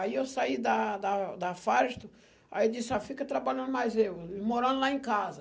Aí eu saí da da da Firestone, aí disse ó, fica trabalhando mais eu, morando lá em casa.